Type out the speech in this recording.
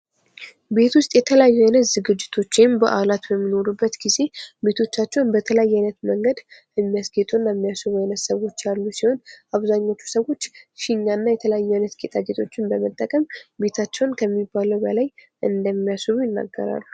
ቤት ውስጥ የተለያዩ አይነት ዝግጅቶች ወይም በዓላት በሚኖሩበት ጊዜ ቤቶቻቸውን በተለያየ አይነት መንገድ የሚያስጌጡ እና የሚያስው ዓይነት ሰዎች ያሉ ሲሆን አብዛኞቹ ሰዎች ሽኛና የተለያዩ አይነት ነገሮችን በመጠቀም ቤታቸውን ከሚባለው በላይ እንደሚያስውቡ ይናገራሉ።